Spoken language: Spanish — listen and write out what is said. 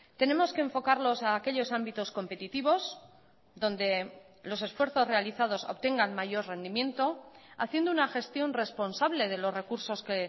tenemos que enfocarlos a aquellos ámbitos competitivos donde los esfuerzos realizados obtengan mayor rendimiento haciendo una gestión responsable de los recursos que